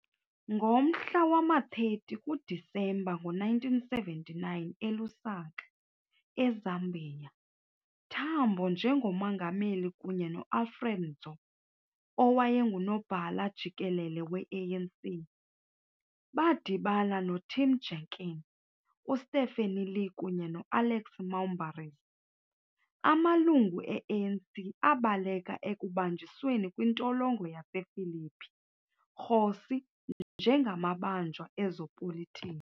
Ngomhla wama-30 kuDisemba ngo-1979 eLusaka, eZambia, Tambo njengo-Mongameli kunye no-Alfred Nzo, owayengu-Nobhala-Jikelele we-ANC, badibana noTim Jenkin, uStephen Lee kunye no-Alex Moumbaris, amalungu e-ANC abaleka ekubanjisweni kwintolongo yasePhillip kgosi njengamabanjwa ezopolitiko.